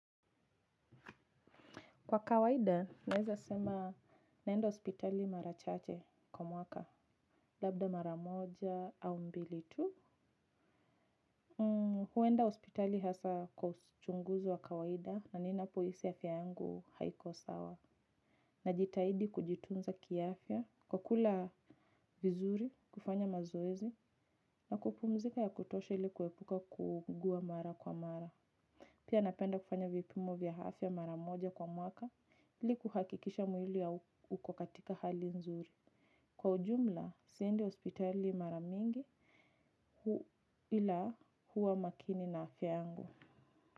Kwa kawaida, naeza sema naenda hospitali mara chache kwa mwaka. Labda mara moja au mbili tu. Huenda hospitali hasa kwa uchunguzi wa kawaida na ninapo hisi afya yangu haiko sawa. Najitaidi kujitunza kiafya, kwa kula vizuri, kufanya mazoezi, na kupumzika ya kutosha ili kuepuka kuugua mara kwa mara. Pia napenda kufanya vipimo vya afya mara moja kwa mwaka ili kuhakikisha mwili uko katika hali nzuri. Kwa ujumla, siendi hospitali mara mingi ila huwa makini na afya yangu.